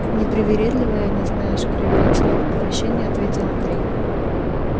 непривередливые они знаешь кривя лицо от отвращения ответил андрей